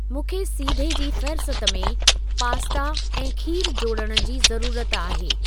मूंखे सीधे जी फ़ेहरिस्त में पास्ता ऐं खीरु जोड़ण जी ज़रूरत आहे।